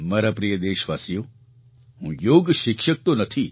મારા પ્રિય દેશવાસીઓ હું યોગ શિક્ષક તો નથી